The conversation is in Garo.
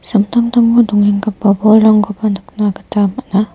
samtangtango dongenggipa bolrangkoba nikna gita man·a.